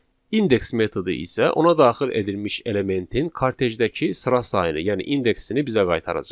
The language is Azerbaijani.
İndeks metodu isə ona daxil edilmiş elementin kartejdəki sıra sayını, yəni indeksini bizə qaytaracaq.